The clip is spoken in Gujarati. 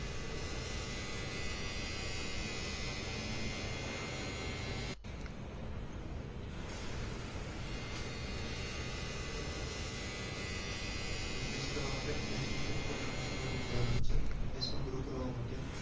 Business કરવા માટે એક સૌથી મોટો business man નો ઉદાહરણ છે business નો grow કરવા માટે